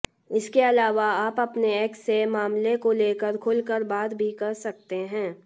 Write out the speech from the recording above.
इसके अलावा आप अपने एक्स से मामले को लेकर खुलकर बात भी कर सकते हैं